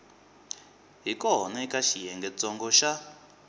hi kona eka xiyengentsongo xa